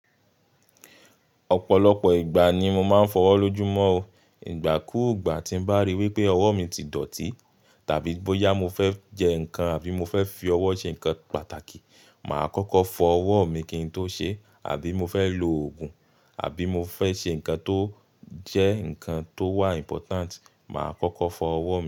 Ọ̀pọ̀lọpọ̀ ìgbà ni mo máa ń fọwọ́ lójúmọ́ o. Ìgbà kúùgbà tí n bá ríi wípé ọwọ́ mi ti dọ̀tí, tàbí bóyá mo fẹ́ jẹ nǹkan àbí mo fẹ́ fi ọwọ́ ṣe nǹkan pàtàkì, màá kọ́kọ́ fọ ọwọ́ mi kí n tó ṣe é, àbí mo fẹ́ lo òògùn, àbí mo fẹ́ ṣe nǹkan tó jẹ́ nǹkan tó wà important, màá kọ́kọ́ fọ ọwọ́ mi.